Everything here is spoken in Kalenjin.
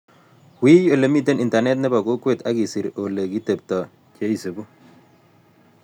Wii olemiten internet ne po kokwet ak isir ole kitepto cheiisibuu